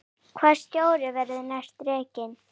Hvaða stjóri verður rekinn næst?